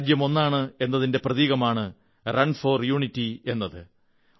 ഈ രാജ്യം ഒന്നാണ് എന്നതിന്റെ പ്രതീകമാണ് റൺ ഫോർ യൂണിറ്റി എന്നത്